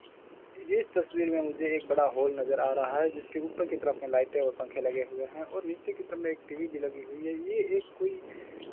इस तस्वीर में मुझे एक बड़ा हॉल नज़र आ रहा है जिसके ऊपर की तरफ में लाइटें और पंखे लगे हुए हैं और नीचे की तरफ में एक टी_वी भी लगी हुई है ये एक कोई --